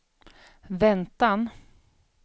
väntan